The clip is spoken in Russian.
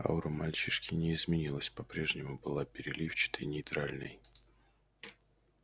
аура мальчишки не изменилась по-прежнему была переливчатой нейтральной